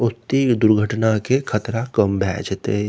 ओत्ती ग दुर्घना के खतरा कम भय जेते।